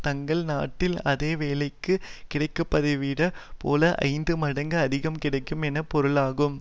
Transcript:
தங்கள் நாட்டில் அதே வேலைக்குக் கிடைப்பதைவிட போல ஐந்து மடங்கு அதிகம் கிடைக்கும் என்று பொருளாகும்